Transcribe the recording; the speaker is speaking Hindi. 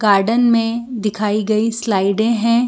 गार्डन मे दिखाई गयी स्लाइडे है।